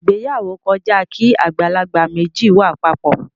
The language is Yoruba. Ìgbéyàwó kọjá kí àgbàlagbà méjì wà papọ.